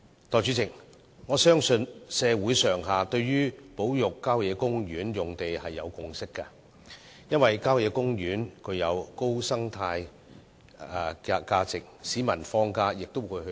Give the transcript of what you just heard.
代理主席，我相信社會上下對保育郊野公園用地已有共識，因為郊野公園具高生態價值，市民在放假時也會到郊野公園遠足。